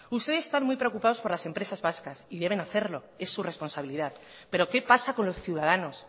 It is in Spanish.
ustedes están muy preocupados por las empresas vascas y deben hacerlos es su responsabilidad pero qué pasa con los ciudadanos